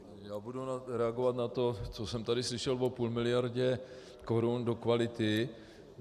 Já budu reagovat na to, co jsem tady slyšel o půl miliardě korun do kvality.